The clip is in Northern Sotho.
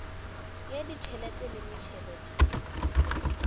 ya ditšhelete le metšhelo di